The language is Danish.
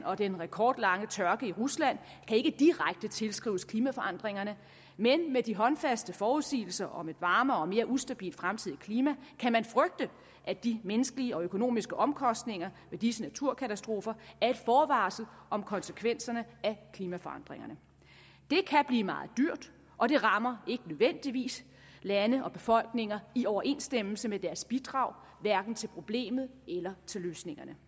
og den rekordlange tørke i rusland kan ikke direkte tilskrives klimaforandringerne men med de håndfaste forudsigelser om et varmere og mere ustabilt fremtidigt klima kan man frygte at de menneskelige og økonomiske omkostninger ved disse naturkatastrofer er et forvarsel om konsekvenserne af klimaforandringerne det kan blive meget dyrt og det rammer ikke nødvendigvis lande og befolkninger i overensstemmelse med deres bidrag hverken til problemet eller til løsningerne